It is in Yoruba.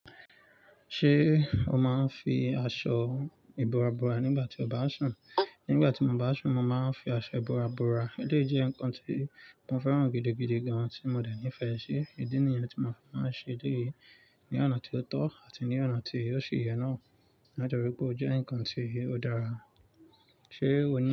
Ṣé o máa ń fi aṣọ ìbora bora nígbà tí o bá ń sùn? Nígbà tí mo bá ń sùn, mo máa ń fi aṣọ ìbora bora. Ó lè jẹ́ nnkan tí mo fẹ́ràn gidigidi gan ti mo dẹ̀ nífẹ̀ẹ́ ṣé. Idi nìyẹn tí mo fi máa ń ṣe eleyii, ní ọ̀nà tí ó tọ́ àti ní ọ̀nà tí ò ṣi yè náà, nítorí pé ó jẹ́ ǹkan tí ó dára. Ṣé o ní.